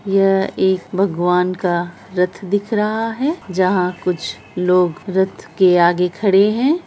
यह एक भगवान का रथ दिख रहा है जहाँ कुछ लोग रथ के आगे खड़े हैं।